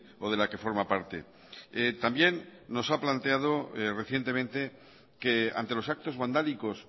o de la que forma parte también nos ha planteado recientemente que ante los actos vandálicos